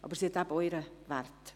Sie hat aber auch ihren Wert.